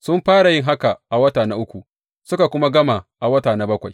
Sun fara yin haka a wata na uku, suka kuma gama a wata na bakwai.